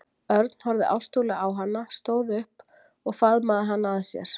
Örn horfði ástúðlega á hana, stóð upp og faðmaði hana að sér.